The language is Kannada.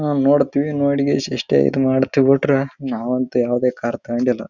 ನಾವು ನೋಡ್ತಿವಿ ನೋಡಿ ಇಷ್ಟೇ ಇದ್ ಮಾಡ್ತೀವಿ ಬಿಟ್ರೆ ನಾವು ಅಂತೂ ಯಾವದೇ ಕಾರ್ ತಗಂಡಿಲ್ಲ--